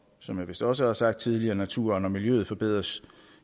som jeg vist også har sagt tidligere naturen og miljøet forbedres